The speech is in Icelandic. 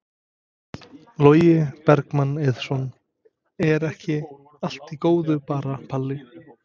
Logi Bergmann Eiðsson: Er ekki allt í góðu bara Palli?